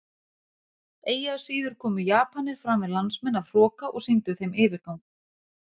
Eigi að síður komu Japanir fram við landsmenn af hroka og sýndu þeim yfirgang.